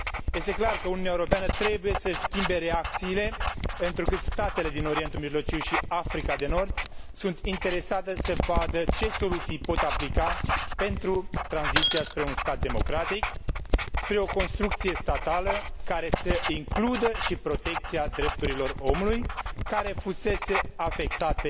Este clar că Uniunea Europeană trebuie să și schimbe reacțiile, întrucât statele din Orientul Mijlociu și Africa de Nord sunt interesate să vadă ce soluții pot aplica pentru tranziția spre un stat democratic, spre o construcție statală care să includă și protecția drepturilor omului, care fuseseră afectate